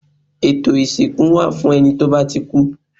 Ètò ìsìnkú wà fún ẹni tó bá ti kú